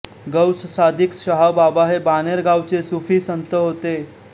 Gauss Sadiq Shahbaba हे बाणेर गावचे सुफी संत होते